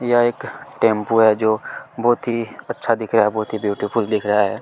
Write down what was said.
यह एक टेंपो है जो बहुत ही अच्छा दिख रहा है बहुत ही ब्यूटीफुल दिख रहा है।